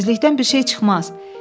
Ümidsizlikdən bir şey çıxmaz.